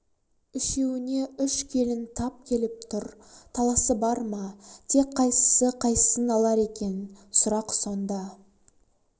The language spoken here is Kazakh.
үшеуіне үш келін тап келіп тұр таласы бар ма тек қайсысы қайсысын алар екен сұрақ сонда